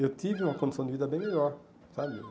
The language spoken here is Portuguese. Eu tive uma condição de vida bem melhor, sabe?